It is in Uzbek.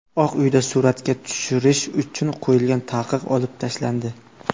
Oq uyda suratga tushirish uchun qo‘yilgan taqiq olib tashlandi.